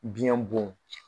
Biɲɛ